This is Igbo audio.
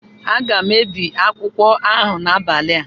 Aga m ebi akwụkwọ ahụ n'abalị a